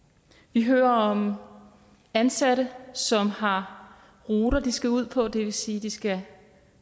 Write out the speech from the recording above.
vi hører om ansatte som har ruter de skal ud på det vil sige at de skal